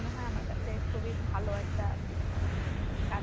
মনে হয় আমার কাছে খুবই ভালো একটা কাজ